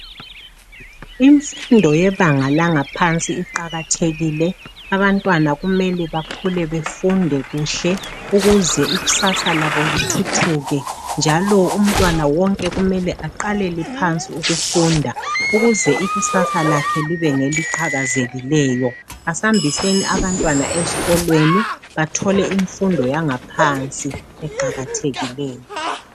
Imfundo yebanga laphansi iqakathekile abantwana kumele bakhule befunde kuhle ukuze ikusasa labo lithuthuke njalo umntwana wonke kumele aqalele phansi ukufunda ukuze ikusasa lakhe libe ngeliqhakazileyo asihambiseni abantwana esikolweni bathole imfundo yaphansi eqakathekileyo.